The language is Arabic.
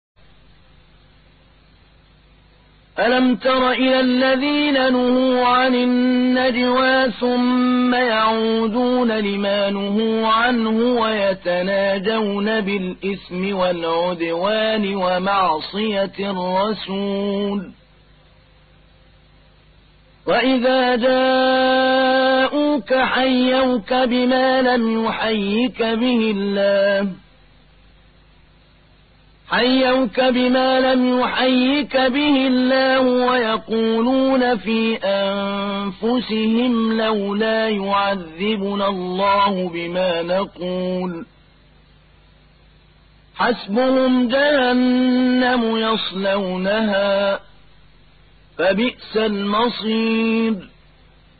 أَلَمْ تَرَ إِلَى الَّذِينَ نُهُوا عَنِ النَّجْوَىٰ ثُمَّ يَعُودُونَ لِمَا نُهُوا عَنْهُ وَيَتَنَاجَوْنَ بِالْإِثْمِ وَالْعُدْوَانِ وَمَعْصِيَتِ الرَّسُولِ وَإِذَا جَاءُوكَ حَيَّوْكَ بِمَا لَمْ يُحَيِّكَ بِهِ اللَّهُ وَيَقُولُونَ فِي أَنفُسِهِمْ لَوْلَا يُعَذِّبُنَا اللَّهُ بِمَا نَقُولُ ۚ حَسْبُهُمْ جَهَنَّمُ يَصْلَوْنَهَا ۖ فَبِئْسَ الْمَصِيرُ